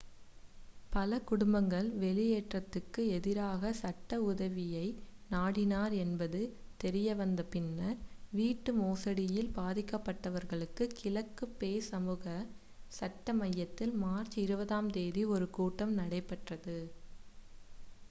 பல குடும்பங்கள் வெளியேற்றத்திற்கு எதிராக சட்ட உதவியை நாடினர் என்பது தெரிய வந்த பின்னர் வீட்டு மோசடியில் பாதிக்கப்பட்டவர்களுக்காக கிழக்கு பே சமூக சட்ட மையத்தில் மார்ச் 20 ஆம் தேதி ஒரு கூட்டம் நடைபெற்றது